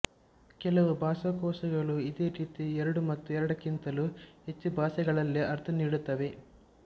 ಕೆಲವು ಭಾಷಾಕೋಶಗಳು ಇದೇ ರೀತಿ ಎರಡು ಮತ್ತು ಎರಡಕ್ಕಿಂತಲೂ ಹೆಚ್ಚು ಭಾಷೆಗಳಲ್ಲಿ ಅರ್ಥನೀಡುತ್ತವೆ